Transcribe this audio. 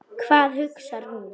Hvað hugsar þú?